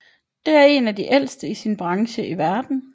Det er en af de ældste i sin branche i verden